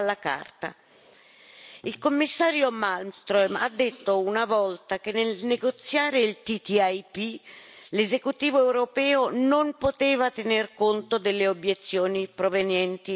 Il Commissario Malmström ha detto una volta che, nel negoziare il TTIP, l'esecutivo europeo non poteva tener conto delle obiezioni provenienti dalla società civile.